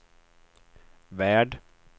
värld